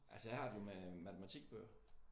Altså jeg har det jo med matematikbøger